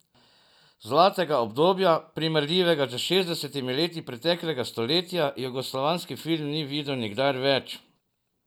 Zlatega obdobja, primerljivega s šestdesetimi leti preteklega stoletja, jugoslovanski film ni videl nikdar več.